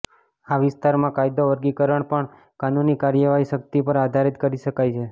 આ વિસ્તારમાં કાયદો વર્ગીકરણ પણ કાનૂની કાર્યવાહી શક્તિ પર આધારિત કરી શકાય છે